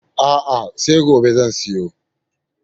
A'a, sai gobe zan siyo.